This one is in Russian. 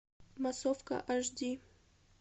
массовка аш ди